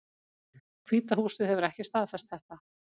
Hvíta húsið hefur ekki staðfest þetta